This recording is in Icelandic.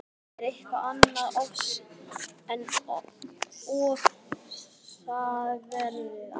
Það er eitthvað annað en ofsaveðrið á